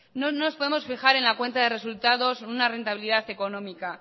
no nos podemos fijar en la cuenta de resultados o en una rentabilidad económica